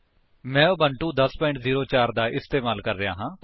ਮੈਂ ਉਬੁੰਟੂ 1004 ਦਾ ਇਸਤੇਮਾਲ ਕਰ ਰਿਹਾ ਹਾਂ